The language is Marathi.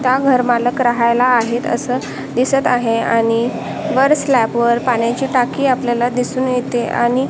त्या घर मालक राहायला आहेत असं दिसत आहे आणि वर स्लॅब वर पाण्याची टाकी आपल्याला दिसून येते आणि --